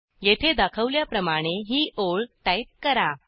येथे दाखवल्याप्रमाणे ही ओळ टाईप करा